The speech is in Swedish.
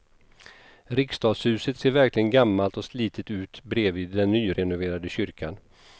Riksdagshuset ser verkligen gammalt och slitet ut bredvid den nyrenoverade kyrkan.